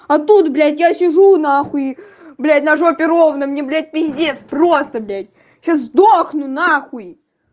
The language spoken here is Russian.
а тут блять я сижу нхауй блять на жопе ровно мне блять пиздец просто блять сейчас сдохну нахуй